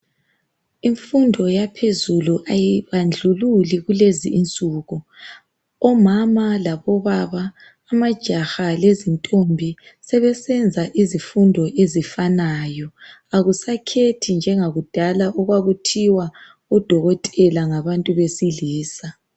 Imfundo yaphezulu ayibandlululi kulezi insuku, omama labo baba amajaha lezintombi sebesenza izifundo ezifanayo akusakhethi njengakudala okwakuthiwa odokotela ngabantu besilisa.